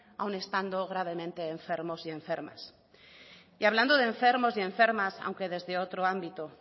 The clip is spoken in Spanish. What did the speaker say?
aun estando gravemente enfermos y enfermas y hablando de enfermos y enfermas aunque desde otro ámbito